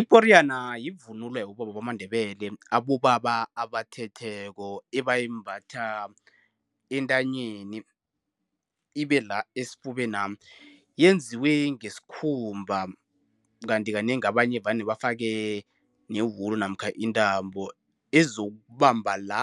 Iporiyana yivunulo yabobaba bamaNdebele, abobaba abathetheko. Ebeyimbatha entanyeni, ibe la esifubena. Yenziwe ngesikhumba. Kanti kanengi abanye vane bafake newula namkha intambo ezokubamba la